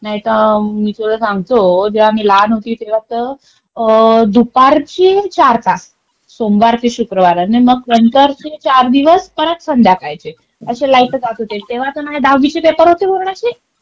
नाहीतर मी तुला सांगतो जेव्हा मी लहान होते तेव्हा तर दुपारचे चार तास, सोमवार ते शुक्रवार. आणि मग नंतर चे चार चार दिवस परत संध्याकाळचे. असे लाईट जात होते. तेव्हा तर माझे दहावीचे पेपर होते बोर्डाची.